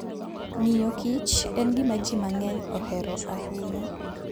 Ng'iyo kich en gima ji mang'eny ohero ahinya.